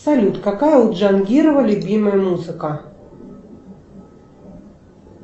салют какая у джангирова любимая музыка